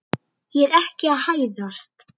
Ég er ekki að hæðast.